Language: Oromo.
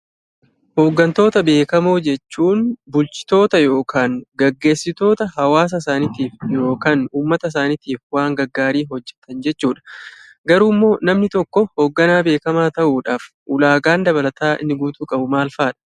Hooggantoota beekamoo jechuun bulchitoota yokaan geggeessitoota hawaasasaaniitiif yokaan uummata saaniitiif waan gaggaarii hojjetan jechuudha. Garuummoo namni tokkoo hoogganaa beekamaa ta'uudhaaf ulaagaan dabalataa inni guutuu qabu maalfaadha?